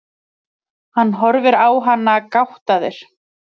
Hann horfir á hana gáttaður.